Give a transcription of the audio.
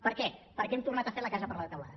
per què perquè hem tornat a fer la casa per la teulada